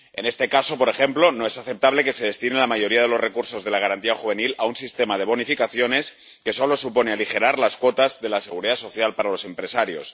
En este caso, por ejemplo, no es aceptable que se destine la mayoría de los recursos de la garantía juvenil a un sistema de bonificaciones que solo supone aligerar las cuotas de la seguridad social para los empresarios.